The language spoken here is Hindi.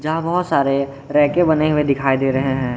जहा बहोत सारे रैके बने हुए दिखाई दे रहे हैं।